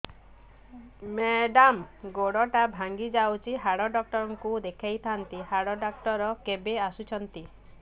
madam ଗୋଡ ଟା ଭାଙ୍ଗି ଯାଇଛି ହାଡ ଡକ୍ଟର ଙ୍କୁ ଦେଖାଇ ଥାଆନ୍ତି ହାଡ ଡକ୍ଟର କେବେ ଆସୁଛନ୍ତି